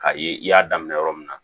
K'a ye i y'a daminɛ yɔrɔ min na